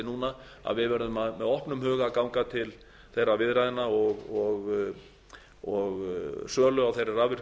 núna að við verðum með opnum huga að ganga til þeirra viðræðna og sölu á þeirri